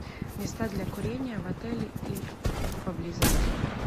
места для курения в отеле и поблизости